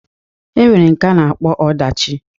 E nwere nke a na-akpọ ọdachi.